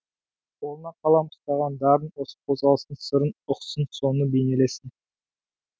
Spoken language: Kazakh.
қолына қалам ұстаған дарын осы қозғалыстың сырын ұқсын соны бейнелесін